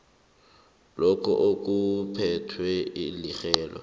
lokho okuphethwe lirhelo